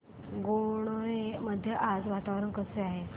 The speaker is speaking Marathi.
गणोरे मध्ये आज वातावरण कसे आहे